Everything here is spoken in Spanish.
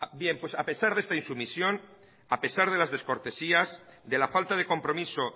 bien pues a pesar de esta insumisión a pesar de las descortesías de la falta de compromiso